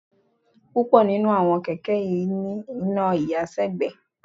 Púpọ̀ nínú àwọn kẹ̀kẹ́ kì í ní iná ìyàsẹ́gbẹ̀ẹ́